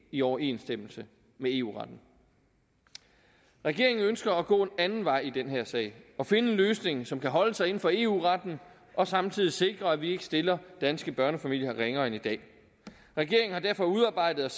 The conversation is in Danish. i overensstemmelse med eu retten regeringen ønsker at gå en anden vej i den her sag og finde en løsning som kan holde sig inden for eu retten og samtidig sikre at vi ikke stiller danske børnefamilier ringere end i dag regeringen har derfor udarbejdet